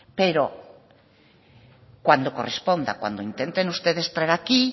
pero cuando corresponda cuando intenten ustedes traer aquí